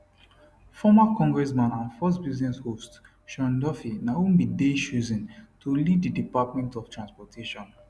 former congressman and fox business host sean duffy na who bin dey chosen to lead di department of transportation